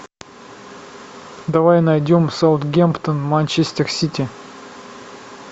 давай найдем саутгемптон манчестер сити